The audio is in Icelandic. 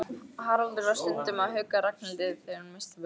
Haraldur var stundum að hugga Ragnhildi þegar hún missti börnin.